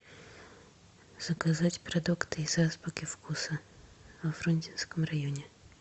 заказать продукты из азбуки вкуса во фрунзенском районе